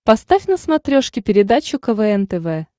поставь на смотрешке передачу квн тв